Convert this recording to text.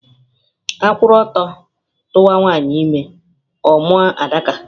A kwuru ọtọ tuwa nwanyị ime, ọ mụọ Adaka